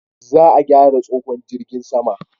Za a gyara tsohon jirgin sama